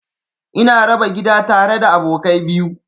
Ina raba gida tare da abokai biyu.